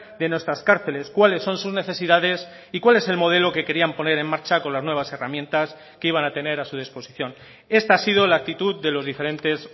de nuestras cárceles cuáles son sus necesidades y cuál es el modelo que querían poner en marcha con las nuevas herramientas que iban a tener a su disposición esta ha sido la actitud de los diferentes